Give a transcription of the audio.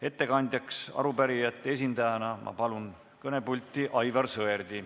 Ettekandjaks palun arupärijate esindajana kõnepulti Aivar Sõerdi.